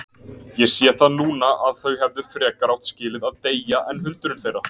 Ég sé það núna að þau hefðu frekar átt skilið að deyja en hundurinn þeirra.